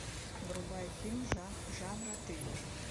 врубай фильм жанра триллер